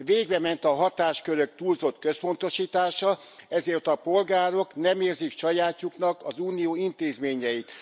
Végbement a hatáskörök túlzott központosítása, ezért a polgárok nem érzik sajátjuknak az Unió intézményeit.